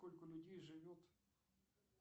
сколько людей живет